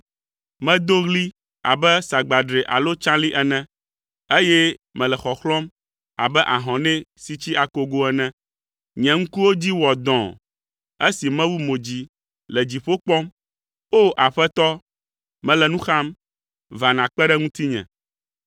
Medo ɣli abe sagbadre alo tsalĩ ene, eye mele xɔxlɔ̃m abe ahɔnɛ si tsi akogo ene. Nye ŋkuwo dzi wɔ dɔ̃ɔ esi mewu mo dzi le dziƒo kpɔm. O! Aƒetɔ, mele nu xam, va nàkpe ɖe ŋutinye.”